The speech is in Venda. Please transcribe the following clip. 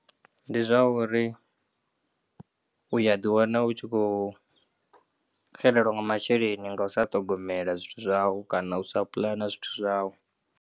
Ndi zwauri u ya ḓiwana u tshi khou xelelwa nga masheleni nga usa ṱhogomela zwithu zwau na u sa pulana zwithu zwau.